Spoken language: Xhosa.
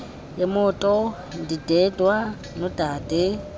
yemoto ndindedwa nodade